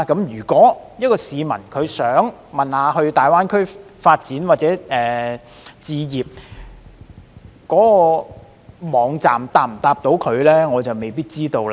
如有市民想要查詢在大灣區發展或置業的事宜，該網站能否回答他們呢？